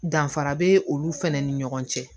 Danfara be olu fɛnɛ ni ɲɔgɔn cɛ